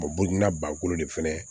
burukina bakolo de fɛnɛ